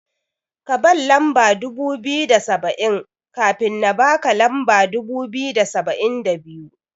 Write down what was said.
Kaban lamba dubu biyu da saba'in, kafin na baka lamba dubu biyu da saba'in da biyu.